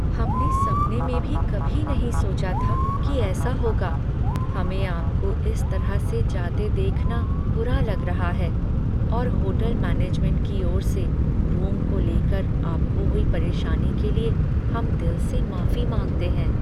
हमने सपने में भी कभी नहीं सोचा था कि ऐसा होगा, हमें आपको इस तरह से जाते देखना बुरा लग रहा है और होटल मैनेजमेंट की ओर से, रूम को लेकर आपको हुई परेशानी के लिए हम दिल से माफी मांगते हैं।